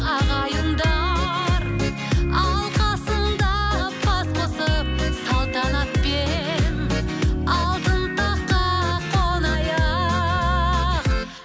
ағайындар алқасында бас қосып салтанатпен алтын таққа қонайық